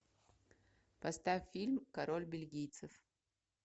поставь фильм король бельгийцев